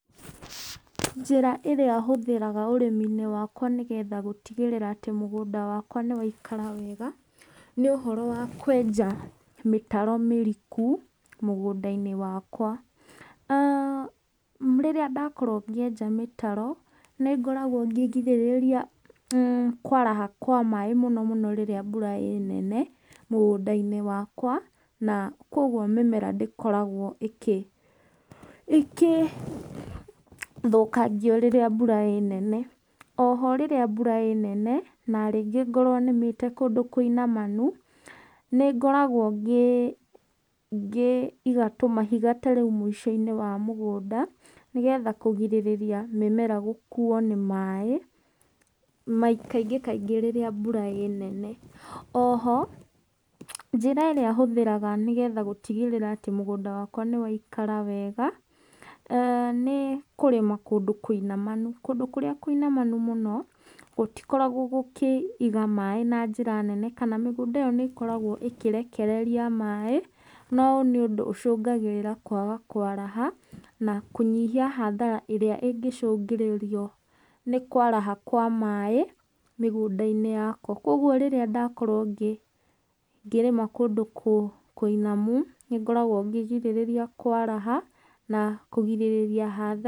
Njĩra ĩrĩa hũthĩraga ũrĩmi-inĩ wakwa nĩgetha gũtigĩrĩra atĩ mũgũnda wakwa nĩ waikara wega, nĩ ũhoro wa kwenja mĩtaro mĩriku mũgũnda-inĩ wakwa. aah Rĩrĩa ndakorwo ngĩenja mĩtaro nĩngoragwo ngĩgirĩrĩria kwaraha kwa maĩ mũno mũno rĩrĩa mbura ĩnene mũgũnda-inĩ wakwa, na koguo mĩmera ndĩkoragwo ĩkĩ ĩkĩthũkangio rĩrĩa mbura ĩnene. Oho rĩrĩa mbura ĩnene na rĩngĩ ngorwo nĩmĩte kũndũ kũinamanu, nĩ ngoragwo ngĩ ngĩiga tũmahiga ta rĩu mũico-inĩ wa mũgũnda, nĩgetha kũgirĩrĩria mĩmera gũkuo nĩ maĩ, kaingĩ kaingĩ rĩrĩa mbura ĩnene. Oho, njĩra ĩrĩa hũthĩraga nĩgetha gũtigĩrĩra atĩ mũgũnda wakwa nĩ waikara wega, eeh nĩ kũrĩma kũndũ kũinamanu. Kũndũ kũrĩa kũinamanu mũno gũtikoragwo gũkĩiga maĩ na njĩra nene kana mĩgũnda ĩyo nĩ ĩkoragwo ĩkĩrekereria maĩ, no nĩ ũndũ ũcũngagĩrĩra kwaga kwaraha, na kũnyihia hathara ĩrĩa ĩngĩcũngĩrĩrio nĩ kwaraha kwa maĩ mĩgũnda-inĩ yakwa, koguo rĩrĩa ndakorwo ngĩrĩma kũndũ kũinamu, nĩngoragwo ngĩgirĩrĩria kwaraha na kũgirĩrĩria hathara.